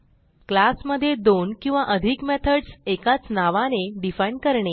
class मधे दोन किंवा अधिक मेथडस एकाच नावाने डिफाईन करणे